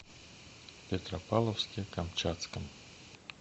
петропавловске камчатском